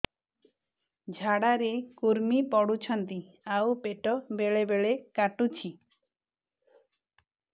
ଝାଡା ରେ କୁର୍ମି ପଡୁଛନ୍ତି ଆଉ ପେଟ ବେଳେ ବେଳେ କାଟୁଛି